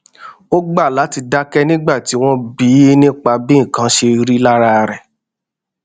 ó gbà láti dáké nígbà tí wón bi í nípa bí nǹkan ṣe rí lára rè